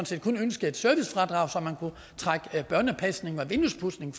set kun ønskede et servicefradrag så børnepasning og vinduespudsning